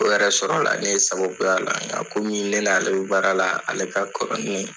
O yɛrɛ sɔrɔla ne sababuya la, nka komii ne n'ale be baara la, ale ka kɔrɔ ni